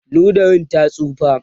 ludayin ya tsufa